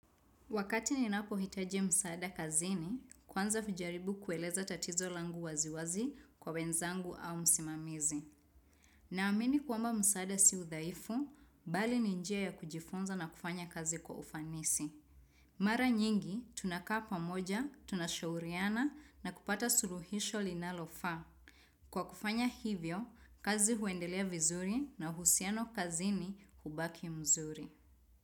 Wakati ninapohitaji msaada kazini, kwanza hujaribu kueleza tatizo langu waziwazi kwa wenzangu au msimamizi. Naamini kwamba msaada si udhaifu, bali ni njia ya kujifunza na kufanya kazi kwa ufanisi. Mara nyingi, tunakaa pamoja, tunashauriana na kupata suluhisho linalofaa. Kwa kufanya hivyo, kazi huendelea vizuri na uhusiano kazini hubaki mzuri.